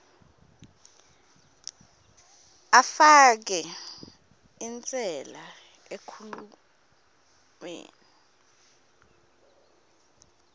afake inselele enkhulumeni